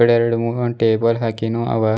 ಎರಡು ಮೂರು ಟೇಬಲ್ ಹಾಕಿನ್ನು ಅವ.